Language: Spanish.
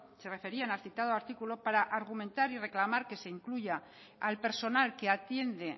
se referían al citado artículo para argumentar y reclamar que se incluya al personal que atiende